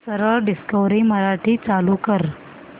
सरळ डिस्कवरी मराठी चालू कर